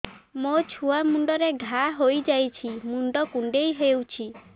ମୋ ଛୁଆ ମୁଣ୍ଡରେ ଘାଆ ହୋଇଯାଇଛି ମୁଣ୍ଡ କୁଣ୍ଡେଇ ହେଉଛି